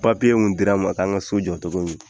Papiye minnu dira an ka so jɔ nin dugu in na.